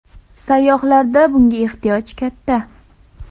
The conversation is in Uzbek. Sayyohlarda bunga ehtiyoj katta.